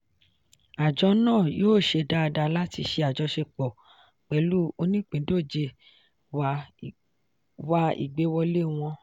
àjọ náà yóò ṣe dáadáa láti ṣe àjọṣepọ̀ pẹ̀lú oníìpíndọ̀jẹ̀ wá ìgbéwọlé wọn.